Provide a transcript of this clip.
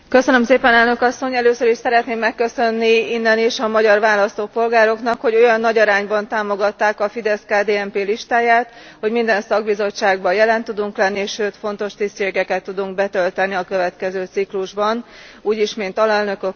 Először is szeretném megköszönni innen is a magyar választópolgároknak, hogy olyan nagy arányban támogatták a FIDESZ KDNP listáját, hogy minden szakbizottságban jelen tudunk lenni, sőt fontos tisztségeket tudunk betölteni a következő ciklusban úgy is, mint alelnökök, koordinátorok.